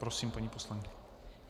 Prosím, paní poslankyně.